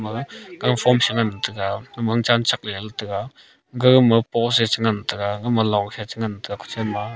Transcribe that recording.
ga ganphom shengan taiga wangchan shakleley taiga gagama post e chengan taiga gama long e chengan taiga kuchen ma.